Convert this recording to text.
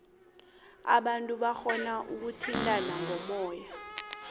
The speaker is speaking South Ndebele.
abantu barhona ukuthintana ngomoya